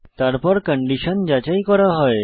তারপর কন্ডিশন যাচাই করা হয়